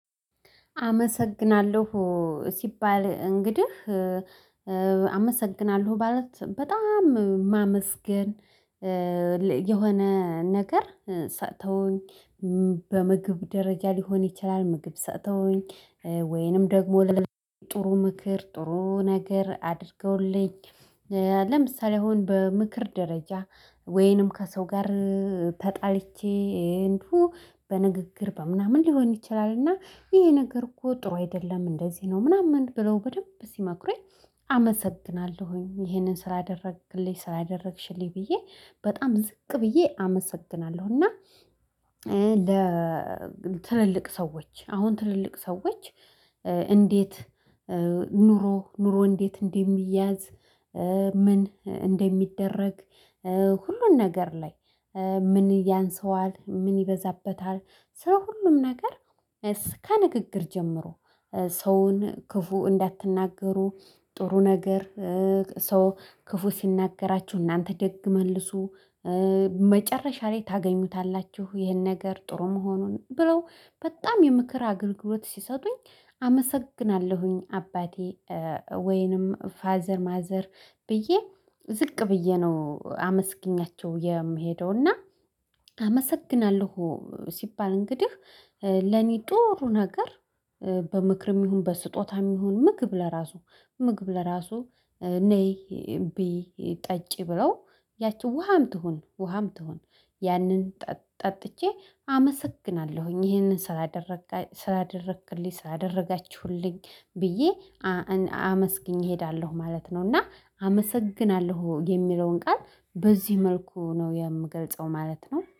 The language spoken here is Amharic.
አመሰግናለሁ ሲባል እንግዲህ አመሰግናለሁ ማለት በጣም ማመስገን የሆነ ነገር ሰጥተውኝ በምግብ ደረጃ ሊሆን ይችላል፤ ምግብ ሰጠውኝ፤ ወይንም ደግሞ ለጥሩ ምክር ጥሩ ነገር አድርገውልኝ፤ ለምሳሌ አሁን በምክር ደረጃ ወይንም ከሰው ጋር ተጣልቼ እንዲሁ በንግግር በምናምን ሊሆን ይችላል። እና ይሄ ነገር እኮ ጥሩ አይደለም እንደዚህ ነው ምናምን ብለው በደንብ ሲመክሩኝ አመሰግናለሁኝ ይሄንን ስላደረግክልኝ ስላደረግሽልኝ ብዬ በጣም ዝቅ ብዬ አመሰግናለሁ። እና ለ ትልልቅ ሰዎች አሁን ትልልቅ ሰዎች እንዴት ኑሮ ኑሮ እንዴት እንደሚያዝ ምን እንደሚደረግ ሁሉን ነገር ላይ ምን ያንሰዋል ምን ይበዛበታል ስለ ሁሉም ነገር እስከ ንግግር ጀምሮ ሰውን ክፉ እንዳትናገሩ። ጥሩ ነገር ሰው ክፉ ሲናገራችሁ እናንተ ደግ መልሱ። መጨረሻ ላይ ታገኙታላችሁ ይህን ነገር ጥሩ መሆኑን። ብለው በጣም የምክር አገልግሎት ሲሰጡኝ አመሰግናለሁኝ አባቴ ወይንም ፋዘር ማዘር ብዬ ዝቅ ብዬ ነው አመስግኛቸው የምሄደው። እና አመሰግናለሁ ሲባል እንግዲህ ለኔ ጥሩ ነገር በምክርም ይሁን በስጦታም ይሁን ምግብ ለራሱ ምግብ ለራሱ ነይ ቢይ ጠጪ ብለው ያቺ ውሃም ትሁን ውሃም ትሁን ያንን ጠጥቼ አመሰግናለሁኝ ይሄንን ስላድረ ስላደረክልኝ ስላደረጋችሁልኝ ብዬ አመስግኘ እሄዳለሁ ማለት ነው። እና አመሰግናለሁ የሚለውን ቃል በዚህ መልኩ ነው የምገልጸው ማለት ነው።